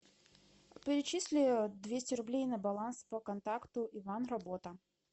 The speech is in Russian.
перечисли двести рублей на баланс по контакту иван работа